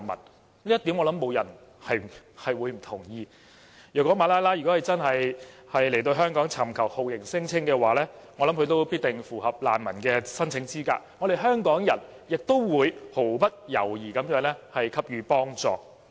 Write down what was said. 我相信這一點不會有人不同意，如果馬拉拉來港尋求酷刑聲請，我相信她也必定符合難民的申請資格，香港人也會毫不猶豫地給予幫助。